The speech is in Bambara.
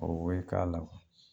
O we ka la